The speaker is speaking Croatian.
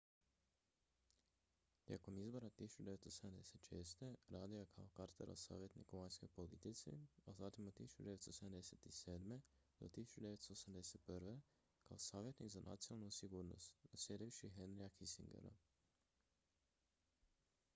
tijekom izbora 1976. radio je kao carterov savjetnik u vanjskoj politici a zatim od 1977. do 1981. kao savjetnik za nacionalnu sigurnost nsa naslijedivši henryja kissingera